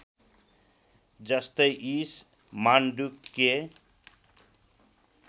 जस्तै ईश मान्डुक्य